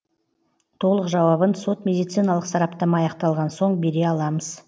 толық жауабын сот медициналық сараптама аяқталған соң бере аламыз